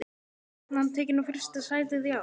Er stefnan tekin á fyrsta sætið í ár?